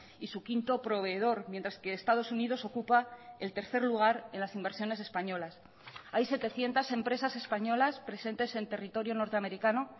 y su quinto proveedor mientras que estados unidos ocupa el tercer lugar en las inversiones españolas hay setecientos empresas españolas presentes en territorio norteamericano